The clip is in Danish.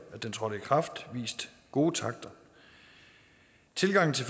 den trådte i kraft har vist gode takter tilgangen til